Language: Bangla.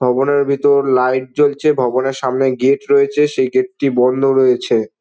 ভবনের ভিতর লাইট জ্বলছে ভবনের সামনে গেট রয়েছে। সেই গেট -টি বন্ধ রয়েছে।